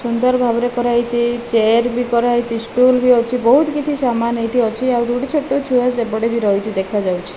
ସୁନ୍ଦର ଭାବରେ କରାହେଇଚି ଚେୟାର ବି କରାହେଇଚି ସ୍କୁଲ ବି ଅଛି ବହୁତ କିଛି ସାମାନ ଏଠି ଅଛି ଆଉ ଯୋ ଗୋଟେ ଛୋଟ ଛୁଆ ସେପଟେ ବି ରହିଚି ଦେଖାଯାଉଚି ।